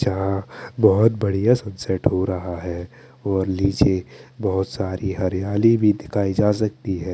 यहाँ बोहोत बढ़िया सनसेट हो रहा है और निचे बोहोत साडी हरियाली भी दिखाई जा सकती है।